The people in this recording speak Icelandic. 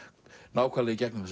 nákvæmlega gegnum